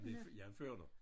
Jeg blev jeg er ført her